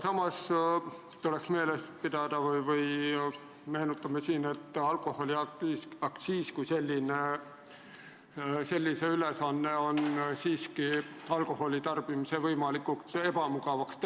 Samas tuleks silmas pidada, et alkoholiaktsiisi kui sellise ülesanne on siiski teha alkoholi tarbimine võimalikult ebamugavaks.